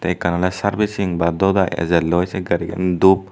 ekkan ole servicing ba doi diy ejelloi se gari gan dhup.